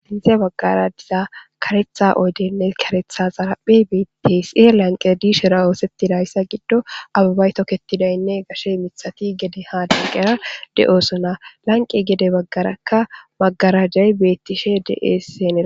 inte baggara diza karetha oydeynne karetha zaraphe beitesie lanqe diishera oosettidayssa giddo ababaytoketidaynne gashe mithati gede hadenqera de7osona lanqi gede baggaraka magarajay bettishe deeseenee